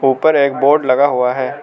उपर एक बोर्ड लगा हुआ है।